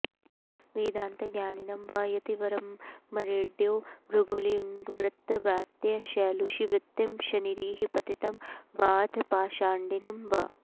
वेदान्तज्ञानिनं वा यतिवरममरेड्यो भृगुलिङ्गवृत्त व्रात्य शैलूषवृत्तिं शनिरिह पतितं वाऽथ पाषण्डिनं वा